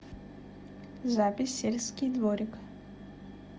запись сельский дворик